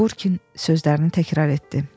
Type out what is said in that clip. Burkin sözlərini təkrarladı.